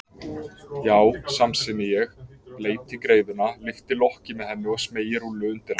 Já, samsinni ég, bleyti greiðuna, lyfti lokki með henni og smeygi rúllu undir hann.